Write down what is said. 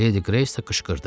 Ledi Greys qışqırdı.